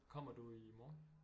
Kommer du i morgen